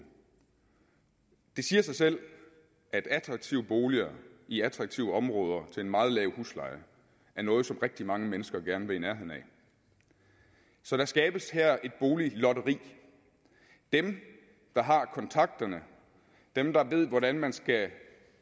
det siger sig selv at attraktive boliger i attraktive områder til en meget lav husleje er noget som rigtig mange mennesker gerne vil i nærheden af så der skabes her et boliglotteri dem der har kontakterne dem der ved hvordan man skal